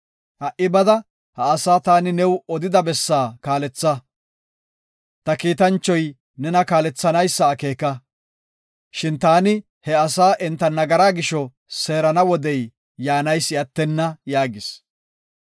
Ha77i bada, ha asaa taani new odida bessaa kaaletha. Ta kiitanchoyka nena kaalethanaysa akeeka, shin taani ha asaa enta nagara gisho seerana wodey yaanaysi attenna” yaagis.